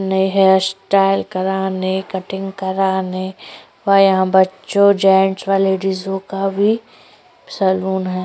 अपने हेयरस्टाइल कराने कटिंग कराने और यहाँ बच्चो जेंट्स व लेडीजो का भी सलून है।